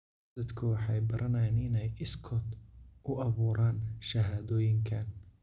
Dadku waxay baranayaan inay iskood u abuuraan shahaadooyinkan